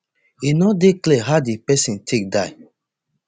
e no dey clear how di pesin take die